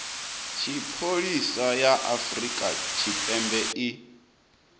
tshipholisa ya afrika tshipembe i